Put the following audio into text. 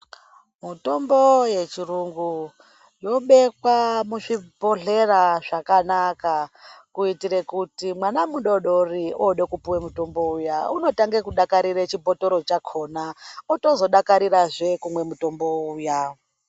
Mitombo yechiyungu yobekwa muzvibhodhlera zvakanaka kuitire kuti mwana mudodori ode kupiwa mitombo zviya unotange kudakarire chibhotoro chakhona otozodakarirazve kumwa mutombo uya.